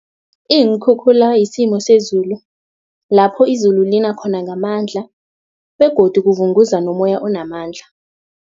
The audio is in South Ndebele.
Iinkhukhula yisimo sezulu lapho izulu lina khona ngamandla begodu kuvunguza nomoya onamandla.